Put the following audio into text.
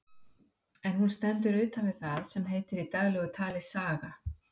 En hún stendur utan við það sem heitir í daglegu tali saga.